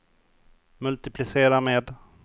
multiplicera med